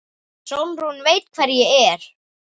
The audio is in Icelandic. Sólrún veit hver ég er.